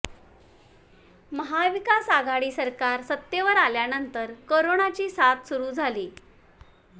महाविकास आघाडी सरकार सत्तेवर आल्यानंतर कोरोनाची साथ सुरू झाली